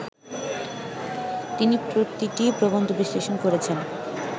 তিনি প্রতিটি প্রবন্ধ বিশ্লেষণ করেছেন